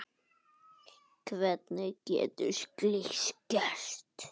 Hvernig getur slíkt gerst?